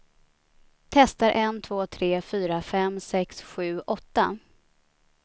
Testar en två tre fyra fem sex sju åtta.